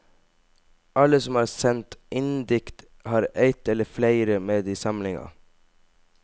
Alle som har sendt inndikt, har eitt eller fleire med i samlinga.